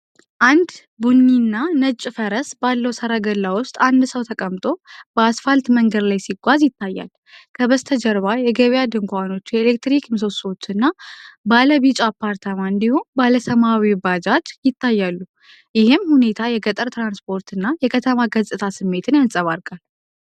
አንድ ቡኒና ነጭ ፈረስ ባለው ሠረገላ ውስጥ አንድ ሰው ተቀምጦ፣ በአስፋልት መንገድ ላይ ሲጓዝ ይታያል። ከበስተጀርባ የገበያ ድንኳኖች፣ የኤሌክትሪክ ምሰሶዎችና ባለ ቢጫ አፓርታማ እንዲሁም ባለ ሰማያዊ ባጃጅ ይታያሉ። ይህም ሁኔታ የገጠር ትራንስፖርትና የከተማ ገጽታ ስሜትን ያንጸባርቃል።